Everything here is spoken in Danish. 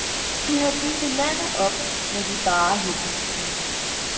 De havde bygget landet op med de bare hænder. punktum